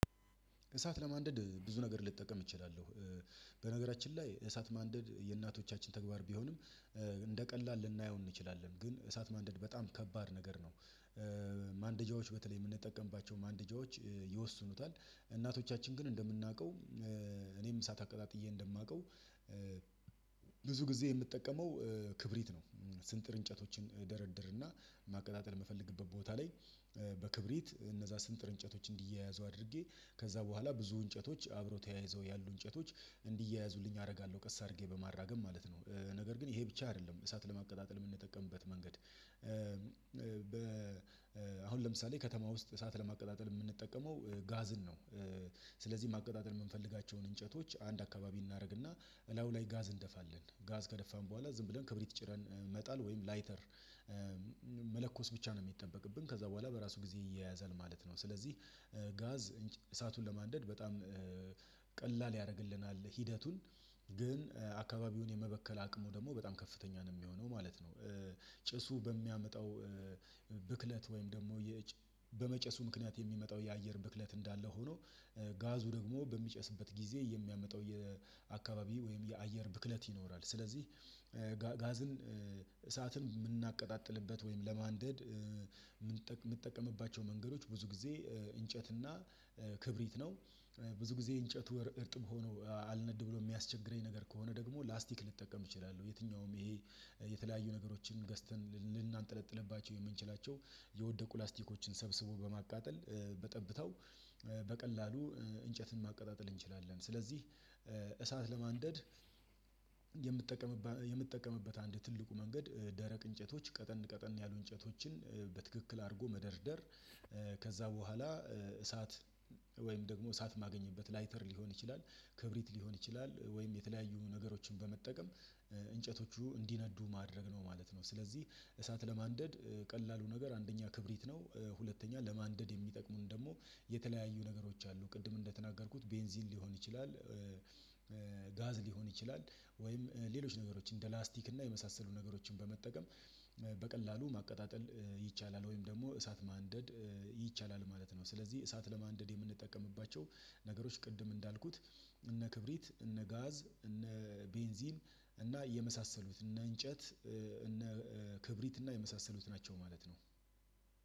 እሳት ለማንደድ ብዙ ነገር ልጠቀም እችላለሁ። በነገራችን ላይ እሳት ማንደድ የእናቶቻችን ተግባር ቢሆንም እንደ ቀላል ልናየው እንችላለን። ግን እሳት ማንደድ በጣም ከባድ ነገር ነው። ማንደጃዎች በተለይ የምንጠቀምባቸው ማንደጃዎች ይወስኑታል እናቶቻችን ግን እንደምናውቀው እኔም እሳት አቀጣጥዬ እንደማውቀው። ብዙ ጊዜ የምጠቀመው ክብሪት ነው። ስንጥር እንጨቶችን እደረድርና ማቀጣጠል የምፈልግበት ቦታ ላይ በክብሪት እነዛ ስንጥር እንጨቶች እንዲያያዙ አድርጌ ከዛ በኋላ ብዙ እንጨቶች አብሮ ተያይዘው ያሉ እንጨቶች እንዲያያዙልኝ አደርጋለሁ ቀስ አድርጌ በማራገብ ማለት ነው። ነገር ግን ይሄ ብቻ አይደለም እሳት ለማቀጣጠል የምንጠቀምበት መንገድ። በ አሁን ለምሳሌ ከተማ ውስጥ እሳት ለማቀጣጠል የምንጠቀመው ጋዝን ነው። ስለዚህ ማቀጣጠል የምንፈልጋቸውን እንጨቶች አንድ አካባቢ እናደርግና እላዩ ላይ ጋዝ እንደፋለን ጋዝ ከደፋን በኋላ ዝም ብለን ክብሪት ጭረን እንመጣለን ወይም ላይተር። መለኮስ ብቻ ነው የሚጠበቅብን ከዛ በኋላ በራሱ ጊዜ ይያያዛል ማለት ነው። ስለዚህ ጋዝ እሳቱን ለማንደድ በጣም ቀላል ያደርግልናል ሂደቱን። ግን አካባቢውን የመበከል አቅሙ ደግሞ በጣም ከፍተኛ ነው የሚሆነው ማለት ነው። ጭሱ በሚያመጣው ብክለት ወይም ደግሞ በመጨሱ ምክንያት የሚመጣው የአየር ብክለት እንዳለ ሆኖ ጋዙ ደግሞ በሚጨስበት ጊዜ የሚያመጣው የአካባቢ ወይም የአየር ብክለት ይኖራል። ስለዚህ ጋዝን እሳትን የምናቀጣጥልበት ወይም ለማንደድ የምንጠቀምባቸው መንገዶች ብዙ ጊዜ እንጨትና ክብሪት ነው። ብዙ ጊዜ እንጨት ወር እርጥብ ሆኖ አልነድ ብሎ የሚያስቸግር ነገር ከሆነ ደግሞ ላስቲክ ልጠቀም እችላለሁ። የትኛውም ይሄ የተለያዩ ነገሮችን ገዝተን ልናንጠለጥልባቸው የምንችላቸው የወደቁ ላስቲኮችን ሰብስቦ በማቃጠል በጠብታው በቀላሉ እንጨትን ማቀጣጠል እንችላለን። ስለዚህ እሳት ለማንደድ የምጠቀምበት አንድ ትልቁ መንገድ ደረቅ እንጨቶች ቀጠን ቀጠን ያሉ እንጨቶችን በትክክል አርጎ መደርደር። ከዛ በኋላ እሳት ወይም ደግሞ እሳት ማገኝበት ላይተር ሊሆን ይችላል ክብሪት ሊሆን ይችላል ወይም የተለያዩ ነገሮችን በመጠቀም እንጨቶቹ እንዲነዱ ማድረግ ነው ማለት ነው። ስለዚህ እሳት ለማንደድ ቀላሉ ነገር አንደኛ ክብሪት ነው። ሁለተኛ ለማንደድ የሚጠቅሙን ደግሞ የተለያዩ ነገሮች አሉ። ቅድም እንደተናገርኩት ቤንዚን ሊሆን ይችላል። ጋዝ ሊሆን ይችላል ወይም ሌሎች ነገሮችን እንደ ላስቲክ እና የመሳሰሉ ነገሮችን በመጠቀም በቀላሉ ማቀጣጠል ይቻላል። ወይም ደግሞ እሳት ማንደድ ይቻላል ማለት ነው። ስለዚህ እሳት ለማንደድ የምንጠቀምባቸው ነገሮች ቅድም እንዳልኩት እነ ክብሪት እነ ጋዝ እነ ቤንዚን እና የመሳሰሉት እነ እንጨት እነ ክብሪት እና የመሳሰሉት ናቸው። ማለት ነው።